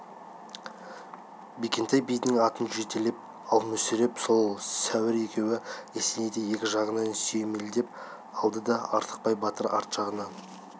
бекентай бидің атын жетелеп ал мүсіреп пен сәдір екеуі есенейді екі жағынан сүйемелеп алды да артықбай батыр арт жағынан